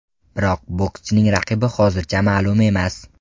Biroq bokschining raqibi hozircha ma’lum emas.